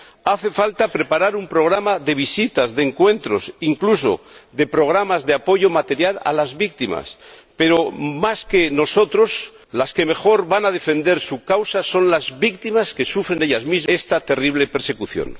Hace falta preparar un programa de visitas, de encuentros, incluso programas de apoyo material a las víctimas, pero, más que nosotros, las que mejor van a defender su causa son las propias víctimas que sufren esta terrible persecución.